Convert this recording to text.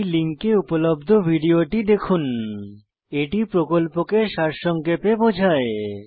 এই লিঙ্কে উপলব্ধ ভিডিওটি দেখুন httpspoken tutorialorgWhat is a Spoken Tutorial এটি প্রকল্পকে সারসংক্ষেপে বোঝায়